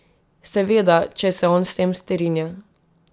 Seveda, če se on s tem strinja.